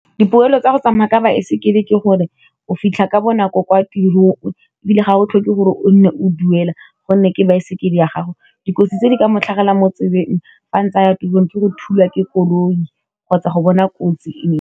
Dipoelo tsa go tsamaya ka baesekele ke gore o fitlha ka bonako kwa tirong e bile ga o tlhoke gore o nne o duela, gonne ke baesekele ya gago, dikotsi tse di ka mo tlhagelelang mo tseleng fa ntsaya tirong ke go thulwa ke koloi kgotsa go bona kotsi e.